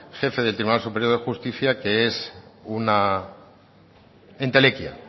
jefe del tribunal superior de justicia que es una entelequia